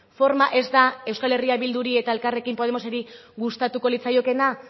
forma ez da euskal herria bilduri eta elkarrekin podemoseri gustatuko litzaiokeena